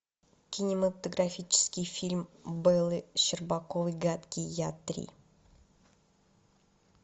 кинематографический фильм бэллы щербаковой гадкий я три